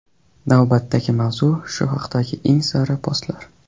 Navbatdagi mavzu shu haqdagi eng sara postlar.